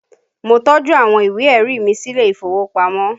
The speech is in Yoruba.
Mo tọ́jú àwọn ìwé ẹ̀rí mi sílé ìfowópamọ́